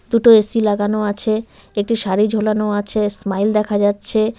দুটো এ_সি লাগানো আছে একটি শাড়ি ঝোলানো আছে স্মাইল দেখা যাচ্ছে।